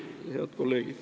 Head kolleegid!